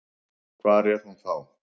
Hvar var hún þá?